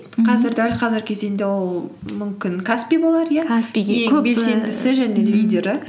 қазір дәл қазіргі кезеңде ол мүмкін каспи болар иә белсендісі және лидері